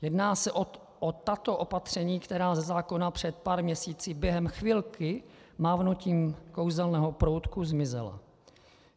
Jedná se o tato opatření, která ze zákona před pár měsíci během chvilky mávnutím kouzelného proutku zmizela.